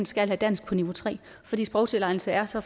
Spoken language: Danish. skal have dansk på niveau tre fordi sprogtilegnelsen er så